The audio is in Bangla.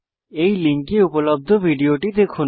এই লিঙ্কে উপলব্ধ ভিডিও টি দেখুন